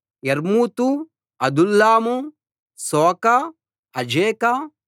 యర్మూతు Adullam Socoh అజేకా